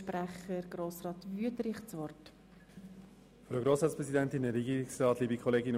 Sprecher der Kommissionsminderheit SAK.